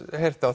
heyrt